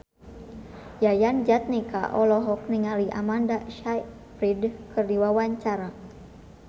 Yayan Jatnika olohok ningali Amanda Sayfried keur diwawancara